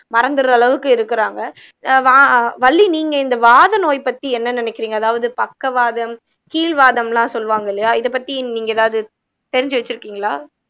மறந்துடுற அளவுக்கு இருக்கிறாங்க வா வள்ளி நீங்க இந்த வாத நோய் பத்தி என்ன நினைக்கிறீங்க அதாவது பக்கவாதம் கீல்வாதம்லாம் சொல்லுவாங்க இல்லையா இத பத்தி நீங்க ஏதாவது தெரிஞ்சு வச்சிருக்கீங்களா